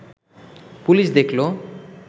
police দেখল